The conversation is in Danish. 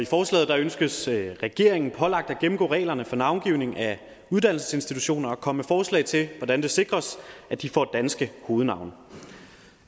forslaget ønskes regeringen pålagt at gennemgå reglerne for navngivning af uddannelsesinstitutioner og komme med forslag til hvordan det sikres at de får danske hovednavne